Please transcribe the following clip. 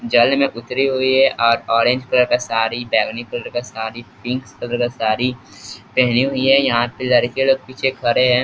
जल में उत्तरी हुई है और ऑरेंज कलर का साड़ी बैंगनी कलर का साड़ी पिंक्स कलर का साड़ी पेहनी और यहाँ पे लड़के लोग पीछे खड़े हैं।